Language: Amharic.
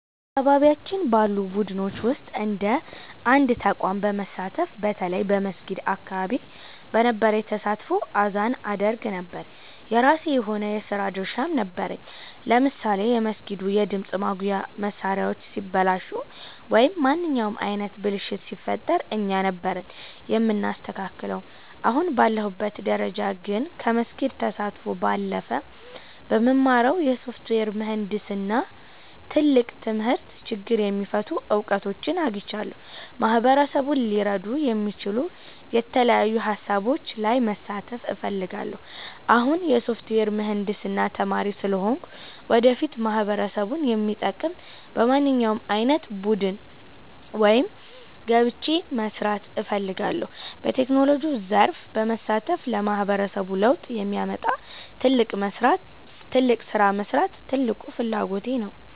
በአካባቢያችን ባሉ ቡድኖች ውስጥ እንደ አንድ ተቋም በመሳተፍ፣ በተለይ በመስጊድ አካባቢ በነበረኝ ተሳትፎ አዛን አደርግ ነበር። የራሴ የሆነ የሥራ ድርሻም ነበረኝ፤ ለምሳሌ የመስጊዱ የድምፅ ማጉያ መሣሪያዎች ሲበላሹ ወይም ማንኛውም ዓይነት ብልሽት ሲፈጠር እኛ ነበርን የምናስተካክለው። አሁን ባለሁበት ደረጃ ግን፣ ከመስጊድ ተሳትፎ ባለፈ በምማረው የሶፍትዌር ምህንድስና ትምህርት ትልቅ ችግር የሚፈቱ እውቀቶችን አግኝቻለሁ። ማህበረሰቡን ሊረዱ የሚችሉ የተለያዩ ሃሳቦች ላይ መሳተፍ እፈልጋለሁ። አሁን የሶፍትዌር ምህንድስና ተማሪ ስለሆንኩ፣ ወደፊት ማህበረሰቡን የሚጠቅም በማንኛውም ዓይነት ቡድን ውስጥ ገብቼ መሥራት እፈልጋለሁ። በቴክኖሎጂው ዘርፍ በመሳተፍ ለማህበረሰቡ ለውጥ የሚያመጣ ትልቅ ሥራ መሥራት ትልቁ ፍላጎቴ ነው።